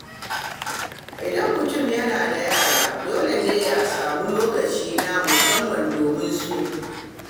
Idan mutum yana da yara, dole ne ya sami lokaci na musamman domin su.